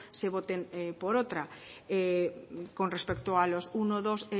se voten por otra con respecto a los uno dos